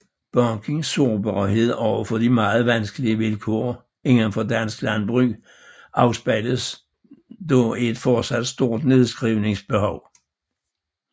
Bankens sårbarhed over for de meget vanskelige vilkår inden for dansk landbrug afspejles dog i et fortsat stort nedskrivningsbehov